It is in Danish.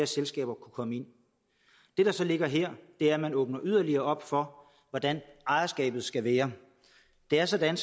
selskaber kunne komme ind det der så ligger her er at man åbner yderligere op for hvordan ejerskabet skal være det er sådan